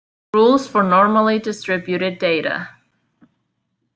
Rules for normally distributed data.